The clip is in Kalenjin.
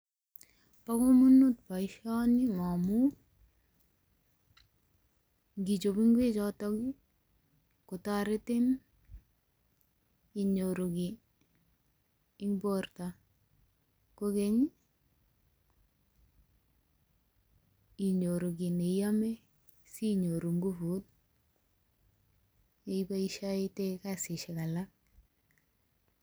Bo komonut boisioni momu, ngichob ingwechotok kotoretin inyoru kiy eng borto. Kogeny inyoru kiy neiame sinyoru nguvut iboisioe iyoitoi kasishek alak.